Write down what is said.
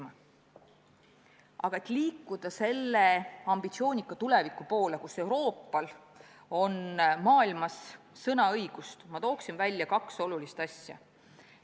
Nende asjade seast, mida on vaja selleks, et liikuda ambitsioonika tuleviku poole, kus Euroopal on maailmas sõnaõigust, toon ma välja kaks olulist asja.